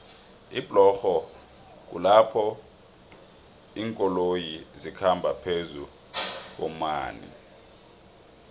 iblorho kulapho linkoloyo zikhamba phezukuomanei